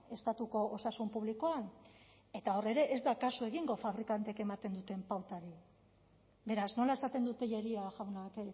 estatuko osasun publikoan eta hor ere ez da kasu egingo fabrikanteek ematen duten pautari beraz nola esaten du tellería jaunak